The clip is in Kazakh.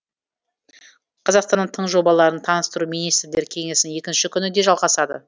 қазақстанның тың жобаларын таныстыру министрлер кеңесінің екінші күні де жалғасады